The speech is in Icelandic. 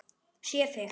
Sé þig.